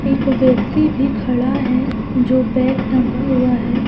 एक व्यक्ति भी खड़ा है जो बैग टंगा हुआ है।